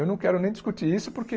Eu não quero nem discutir isso porque...